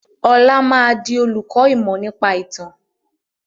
Ọlá máa di olùkọ́ ìmọ̀ nípa ìtàn